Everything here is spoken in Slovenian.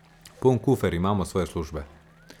Poln kufer imamo svoje službe.